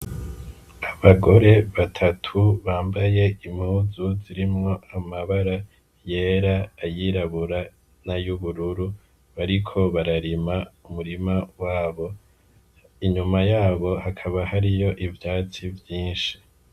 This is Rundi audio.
Abagore batatu bambaye impuzu zirimwo amabara yera, ayirabura n'ayubururu bariko bararima umurima wabo inyuma yabo hakaba hariyo ivyatsi vyishi.